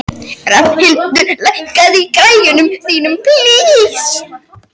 Rafnhildur, lækkaðu í græjunum.